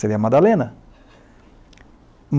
seria Madalena.